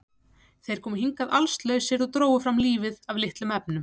Þeir komu hingað allslausir og drógu fram lífið af litlum efnum.